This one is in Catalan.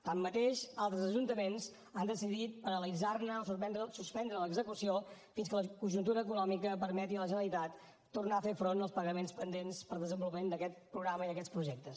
tanmateix altres ajuntaments han decidit paralitzar o suspendre l’execució fins que la conjuntura econòmica permeti a la generalitat tornar a fer front als pagaments pendents per al desenvolupament d’aquest programa i d’aquests projectes